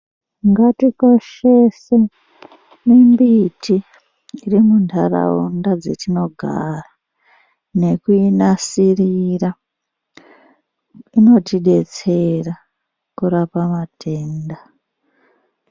Ngatikoshese mimbiti iri muntaraunda dzetinogara. Nekuinasirira inotibetsera kurapa matenda.